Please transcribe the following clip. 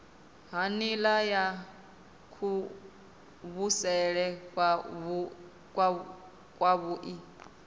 ha nila ya kuvhusele kwavhui